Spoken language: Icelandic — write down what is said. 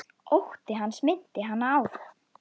Ótti hans minnti hana á